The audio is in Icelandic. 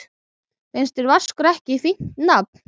Finnst þér Vaskur ekki fínt nafn?